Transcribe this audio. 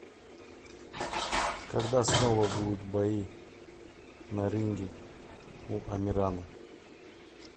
когда снова будут бои на ринге у амирана